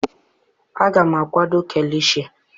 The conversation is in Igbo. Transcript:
Aga m akwado kilishi